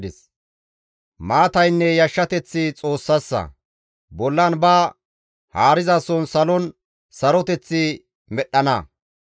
«Maataynne yashshateththi Xoossassa; bollan ba haarizason salon saroteth medhdhana.